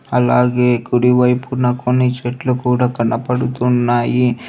అలాగే కుడి వైపున కొన్ని చెట్లు కూడా కనపడుతున్నాయి.